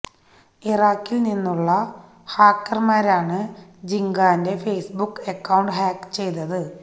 ഇറാഖിൽ നിന്നുള്ള ഹാക്കർമാരാണ് ജിങ്കാന്റെ ഫെയ്സ്ബുക്ക് അക്കൌണ്ട് ഹാക്ക് ചെയ്തത്